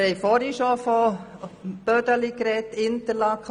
Wir sprachen zuvor vom «Bödeli».